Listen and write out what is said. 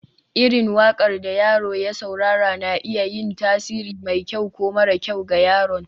irin waƙar da yaro ya saurara na iya yin tasiri mai kyau ko mara kyau ga yaron